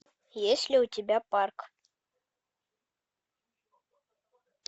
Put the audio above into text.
есть ли у тебя парк